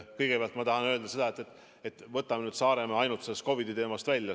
Kõigepealt tahan öelda, et võtame Saaremaa ainult sellest COVID-i teemast välja.